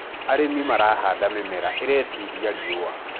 arĩmi marahanda mĩmera iretĩĩria riũa